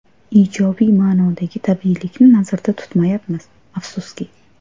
Ijobiy ma’nodagi tabiiylikni nazarda tutmayapmiz, afsuski.